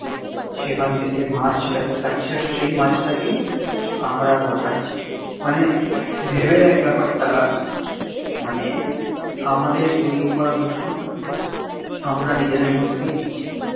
সেখান থেকে মাছ সেটা কে খাচ্ছে আর সেই মাছ টা কেই আমরা আবার খাচ্ছি মানে ভেবে দেখ ব্যাপারটা মানে আমাদের তৈরী করা দূষণ আমরা নিজেদের মধ্যেই নিচ্ছি